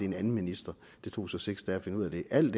en anden minister det tog så seks dage at finde ud af det alt